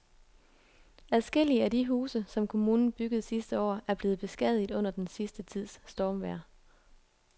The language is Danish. Adskillige af de huse, som kommunen byggede sidste år, er blevet beskadiget under den sidste tids stormvejr.